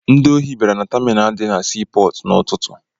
Ndị osi bịara na taminalụ dị na sii pọọtụ n'ụtụtụ.